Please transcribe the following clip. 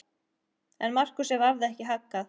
En Markúsi varð ekki haggað.